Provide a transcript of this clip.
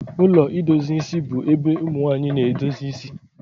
Ụlọ idozi isi bu ébé ụmụnwanyị na-edozi ịsị